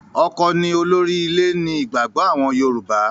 ọkọ ni olórí ilé ni ìgbàgbọ àwọn Yorùbá.